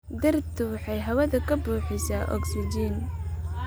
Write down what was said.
Dhirtu waxay hawada ka buuxisaa ogsijiin.